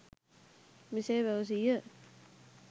මෙසේ පැවසීය.